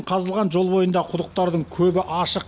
қазылған жол бойындағы құдықтардың көбі ашық